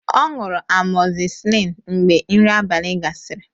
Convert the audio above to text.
Ọ ṅụrụ amọzisillin mgbe nri abalị gasịrị